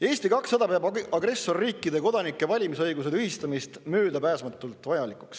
Eesti 200 peab agressorriikide kodanike valimisõiguse tühistamist möödapääsmatult vajalikuks.